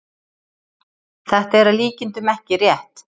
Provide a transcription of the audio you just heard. þetta er að líkindum ekki rétt